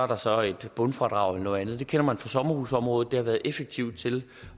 der så et bundfradrag eller noget andet det kender man fra sommerhusområdet hvor det har været effektivt til